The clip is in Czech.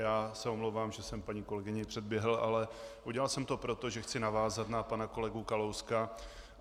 Já se omlouvám, že jsem paní kolegyni předběhl, ale udělal jsem to proto, že chci navázat na pana kolegu Kalouska.